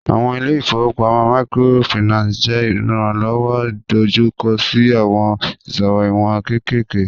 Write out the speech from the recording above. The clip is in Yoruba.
Awọn ile-ifowopamọ Microfinance jẹ iranlọwọ idojukọ si awọn iṣowo iwọn kekere